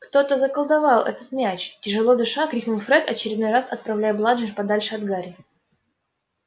кто-то заколдовал этот мяч тяжело дыша крикнул фред очередной раз отправляя бладжер подальше от гарри